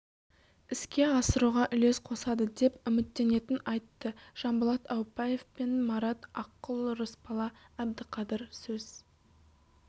іске асыруға үлес қосады деп үміттенетінін айтты жанболат аупбаев пен марат аққұл рысбала бдіқадыр сөз